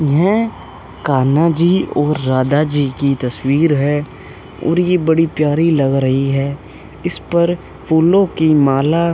यह कान्हा जी और राधा जी की तस्वीर है और यह बड़ी प्यारी लग रही है इस पर फूलों की माला --